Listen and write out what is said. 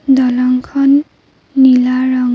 দলংখন নীলা ৰঙ--